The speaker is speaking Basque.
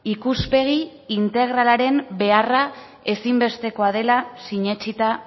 ikuspegi integralaren beharra ezinbestekoa dela sinetsita